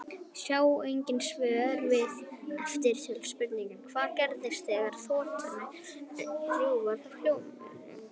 Sjá einnig svör við eftirtöldum spurningum: Hvað gerist þegar þotur rjúfa hljóðmúrinn?